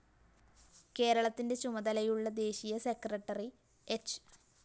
കേരളത്തിന്റ ചുമതലയുള്ള ദേശീയ സെക്രട്ടറി ഹ്‌